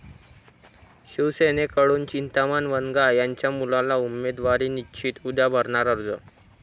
शिवसेनेकडून चिंतामण वनगा यांच्या मुलाला उमेदवारी निश्चित, उद्या भरणार अर्ज?